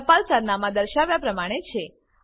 ટપાલ સરનામાં દર્શાવ્યા પ્રમાણે છે